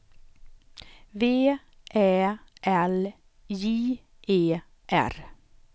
V Ä L J E R